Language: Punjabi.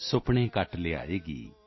ਸੁਪਨੇ ਕੱਟ ਲਿਆਏਗੀ